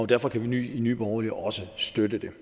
derfor kan nye nye borgerlige også støtte det